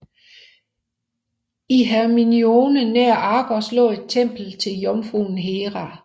I Hermione nær Argos lå et tempel til jomfruen Hera